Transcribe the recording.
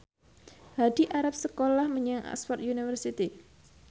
Hadi arep sekolah menyang Oxford university